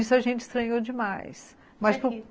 Isso a gente estranhou demais.